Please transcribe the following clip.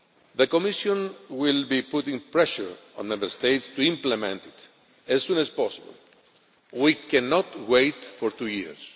The Commission will be putting pressure on Member States to implement it as soon as possible we cannot wait for two years.